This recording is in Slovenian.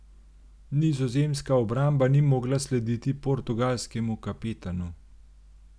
Nizozemska obramba ni mogla slediti portugalskemu kapetanu.